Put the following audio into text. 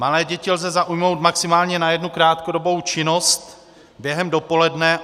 Malé děti lze zaujmout maximálně na jednu krátkodobou činnost během dopoledne.